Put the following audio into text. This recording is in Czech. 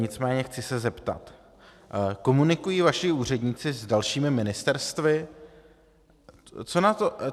Nicméně chci se zeptat: Komunikují vaši úředníci s dalšími ministerstvy?